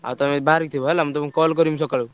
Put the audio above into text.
ଆଉ ତମେ ବାହାରିକି ଥିବ ହେଲା ମୁଁ ତମୁକୁ call କରିବି ସକାଳୁ।